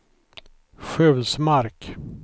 Sjulsmark